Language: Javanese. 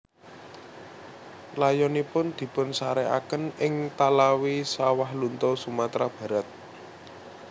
Layonipun dipunsarekaken ing Talawi Sawahlunto Sumatera Barat